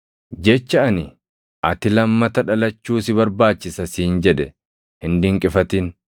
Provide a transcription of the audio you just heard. Jecha ani, ‘Ati lammata dhalachuu si barbaachisa siin jedhe hin dinqifatin.’